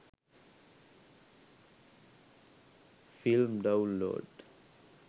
film download